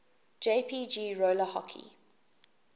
jpg roller hockey